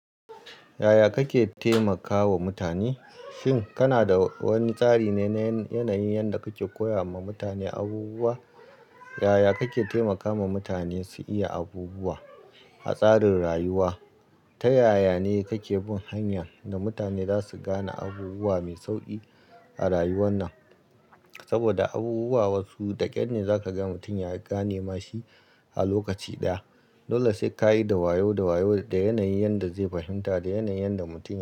Yaya kake taimakawa mutane? Shin kana da wani tsari na yanayi yanda kake koya ma mutane abubuwa? Yaya kake taimakawa mutane su iya abubuwa a tsarin rayuwa? Ta ya ya ne kake bin hanya da mutane za su gane abubuwa mai sauƙi a rayuwar nan? Saboda abubuwa wasu da ƙyar ne za ka ga mutum ya gane ma shi a lokaci ɗaya. Dole sai ka yi da wayo da wayo, da yanayi yanda zai fahimta, da yanayi yanda mutum.